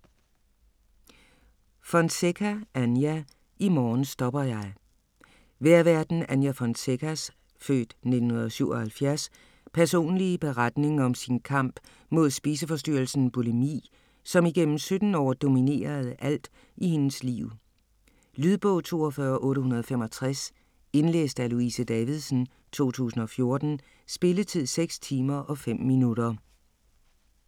Fonseca, Anja: I morgen stopper jeg Vejrværten Anja Fonsecas (f. 1977) personlige beretning om sin kamp mod spiseforstyrrelsen bulimi, som igennem 17 år dominerede alt i hendes liv. Lydbog 42865 Indlæst af Louise Davidsen, 2014. Spilletid: 6 timer, 5 minutter.